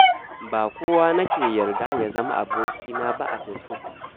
Ba kowa nake yarda ya zama abokina ba a Fesbuk.